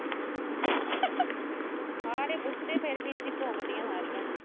ਹਾਂ ਨੀ ਪੁੱਛਦੀ, ਫਿਰ ਵੀ ਇਦਾਂ ਭੌਂਕਦੀਆਂ ਸਾਰੀਆਂ।